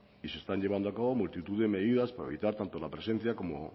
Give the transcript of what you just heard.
y se están llevando a cabo multitud de medidas para evitar tanto la presencia como